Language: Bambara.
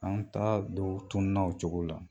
Anw ta don tununna o cogo la